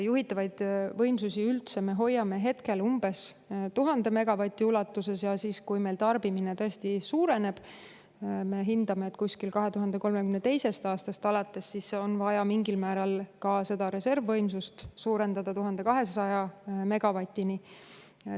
Juhitavaid võimsusi me hoiame hetkel umbes 1000 megavati ulatuses ja kui meil tarbimine tõesti suureneb – me hindame, et kusagil 2032. aastast alates –, siis on vaja ka seda reservvõimsust suurendada 1200 megavatini.